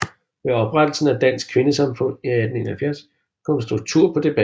Ved oprettelsen af Dansk Kvindesamfund i 1871 kom der struktur på debatten